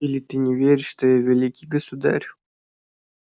или ты не веришь что я великий государь